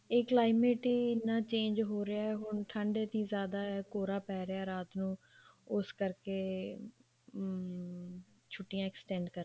ਇਹ climate ਹੀ ਇੰਨਾ change ਹੋ ਰਿਹਾ ਹੁਣ ਠੰਡ ਇੰਨੀ ਜਿਆਦਾ ਕੋਰਾ ਪੈ ਰਿਹਾ ਰਾਤ ਨੂੰ ਉਸ ਕਰਕੇ ਅਮ ਛੁੱਟੀਆਂ extend